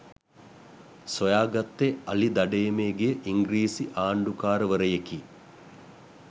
සොයාගත්තේ අලි දඩයමේ ගිය ඉංග්‍රිසි ආණ්ඩුකාරවරයෙකි